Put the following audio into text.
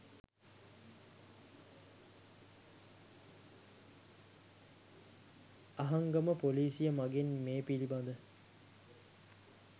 අහංගම පොලිසිය මගින් මේ පිළිබද